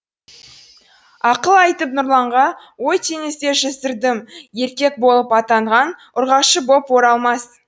ақыл айтып нұрланға ой теңізде жүздірдім еркек болып аттанған ұрғашы боп оралмас